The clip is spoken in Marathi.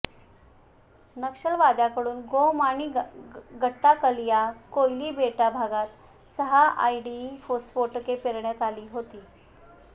नक्षलवाद्यांकडून गोम आणि गट्टाकल या कोयली बेडा भागात सहा आयईडी स्फोटके पेरण्यात आली होती